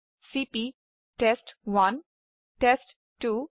চিপি test one টেষ্ট2